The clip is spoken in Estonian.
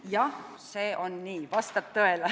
Jah, see on nii, vastab tõele.